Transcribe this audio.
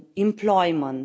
employment